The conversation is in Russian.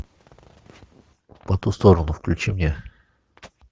по ту сторону включи мне